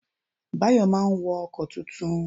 Bayo máa wo ọkọ̀ tuntun